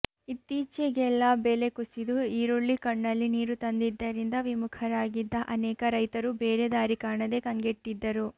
ಇತ್ತೀಚೆಗೆಲ್ಲ ಬೆಲೆ ಕುಸಿದು ಈರುಳ್ಳಿ ಕಣ್ಣಲ್ಲಿ ನೀರು ತಂದಿದ್ದರಿಂದ ವಿಮುಖರಾಗಿದ್ದ ಅನೇಕ ರೈತರು ಬೇರೆ ದಾರಿ ಕಾಣದೇ ಕಂಗೆಟ್ಟಿದ್ದರು